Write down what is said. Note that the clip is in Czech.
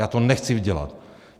Já to nechci dělat.